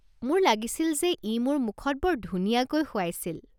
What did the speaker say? মোৰ লাগিছিল যে ই মোৰ মুখত বৰ ধুনিয়াকৈ শুৱাইছিল।